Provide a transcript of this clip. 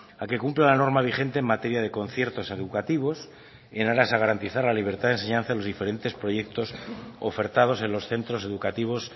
a que cumpla la norma vigente en materia de conciertos educativos en aras a garantizar la libertad de enseñanza de los diferentes proyectos ofertados en los centros educativos